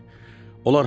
Onlar hardadır?